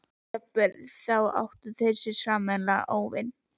Jafnvel þá áttu þau sér sameiginlegan óvin.